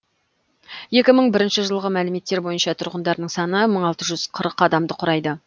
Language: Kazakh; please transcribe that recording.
екі мың бірінші жылғы мәліметтер бойынша тұрғындарының саны мың алты жүз қырық адамды құрайды